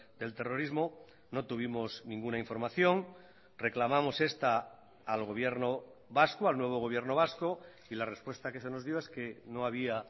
del terrorismo no tuvimos ninguna información reclamamos esta al gobierno vasco al nuevo gobierno vasco y la respuesta que se nos dio es que no había